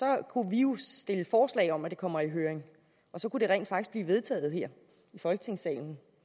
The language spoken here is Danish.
kunne vi jo stille forslag om at det kommer i høring og så kunne det rent faktisk blive vedtaget her i folketingssalen